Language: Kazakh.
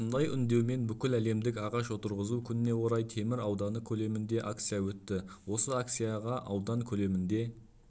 осындай үндеумен бүкіләлемдік ағаш отырғызу күніне орай темір ауданы көлемінде акция өтті осы акцияға аудан көлемінде